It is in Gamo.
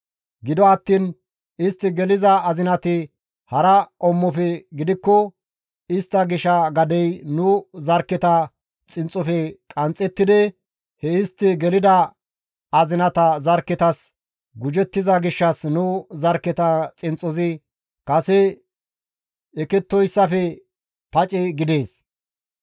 Gido attiin istti geliza azinati hara qommofe gidikko istta gisha gadey nu zarkketa xinxxofe qanxxettidi he istti gelida azinata zarkketas gujettiza gishshas nu zarkketa xinxxozi kase ekettoyssafe pace gidees.